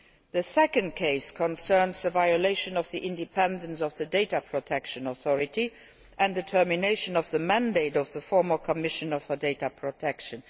full. The second case concerns the violation of the independence of the Data Protection Authority and the termination of the mandate of the former Commissioner for Data Protection.